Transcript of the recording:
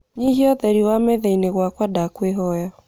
nyihia ūtheri wa methaīni gwakwa ndakwīhoya